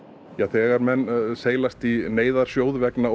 þegar menn seilast í neyðarsjóð vegna